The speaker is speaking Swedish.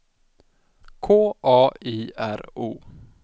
K A I R O